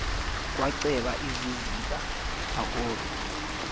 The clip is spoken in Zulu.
kwacweba iziziba akobe